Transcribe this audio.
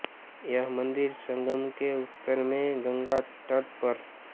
यह मंदिर संगम के उत्तर में गंगा तट पर